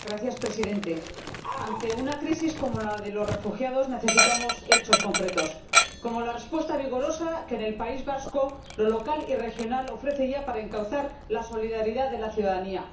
Señor Presidente, ante una crisis como la de los refugiados, necesitamos hechos concretos como la respuesta vigorosa que en el País Vasco lo local y regional ofrece ya para encauzar la solidaridad de la ciudadanía.